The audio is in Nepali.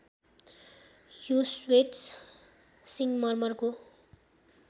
यो श्वेत सिङ्गमर्मरको